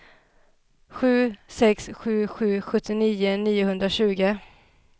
sju sex sju sju sjuttionio niohundratjugo